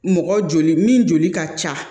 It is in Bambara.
Mɔgɔ joli min joli ka ca